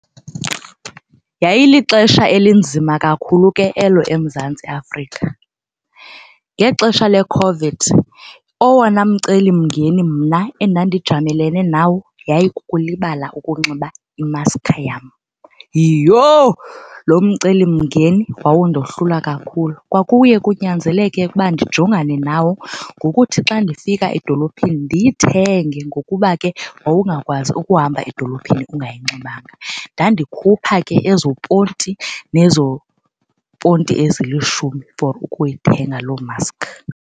Yayilixesha elinzima kakhulu ke elo eMzantsi Afrika. Ngexesha leCOVID owona mcelimngeni mna endandijamelene nawo yayikukulibala ukunxiba imaskha yam. Yiyho, loo mcelimngeni wawundohlula kakhulu. Kwakuye kunyanzeleke ukuba ndijongane nawo ngokuthi xa ndifika edolophini ndiyithenge ngokuba xa ke wawungakwazi ukuhamba edolophini ungayinxibanga. Ndandikhupha ke ezo ponti nezo ponti ezilishumi for ukuyithenga loo maskhi.